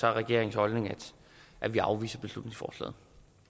er regeringens holdning at vi afviser beslutningsforslaget